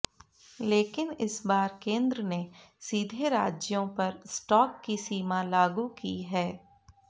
लेकिन इस बार केंद्र ने सीधे राज्यों पर स्टॉक की सीमा लागू की है